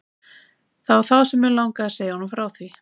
Það var þá sem mig langaði að segja honum frá því.